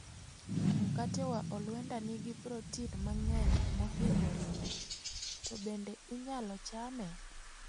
Mkate wa olwenda nigi protin mang'eny mohingo ring'o, to bende inyalo chame?